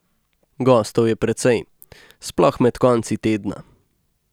Gostov je precej, sploh med konci tedna.